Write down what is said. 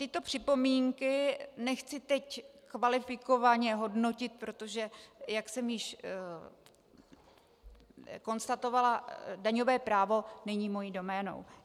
Tyto připomínky nechci teď kvalifikovaně hodnotit, protože, jak jsem již konstatovala, daňové právo není mou doménou.